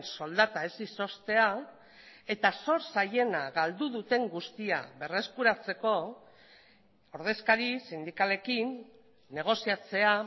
soldata ez izoztea eta zor zaiena galdu duten guztia berreskuratzeko ordezkari sindikalekin negoziatzea